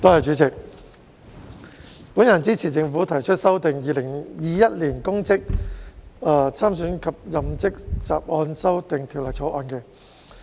代理主席，我支持政府提出《2021年公職條例草案》。